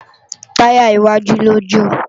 Tàyá iwájú lo jó